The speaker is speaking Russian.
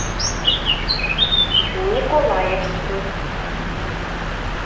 николаевску